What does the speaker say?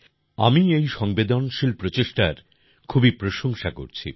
আমি এই সংবেদনশীল প্রচেষ্টার খুবই প্রশংসা করছি